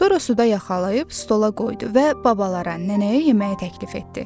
Sonra suda yaxalayıb stola qoydu və babalara, nənəyə yeməyə təklif etdi.